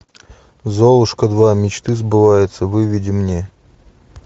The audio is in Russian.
золушка два мечты сбываются выведи мне